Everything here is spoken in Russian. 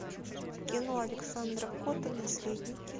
кино александра котта наследники